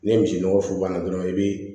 Ni misi nɔgɔ funfunna dɔrɔn i bɛ